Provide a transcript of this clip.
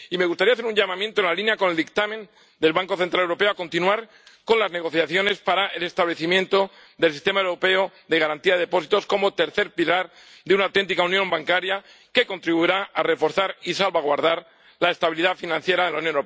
Y me gustaría hacer un llamamiento, en línea con el dictamen del Banco Central Europeo, para que se continúe con las negociaciones para el establecimiento del Sistema Europeo de Garantía de Depósitos como tercer pilar de una auténtica unión bancaria, que contribuirá a reforzar y salvaguardar la estabilidad financiera de la Unión Europea.